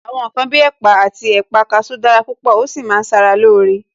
Àwọn ǹkan bí ẹ̀pà àti ẹ̀pà kasú dára púpò, ó sì máa ń sara loore